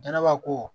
Danaba ko